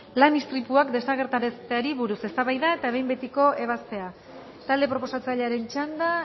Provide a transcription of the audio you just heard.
lan istripuak desagerrarazteari buruz eztabaida eta behin betiko ebazpena talde proposatzailearen txanda